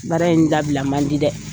Baara in dabila man di dɛ.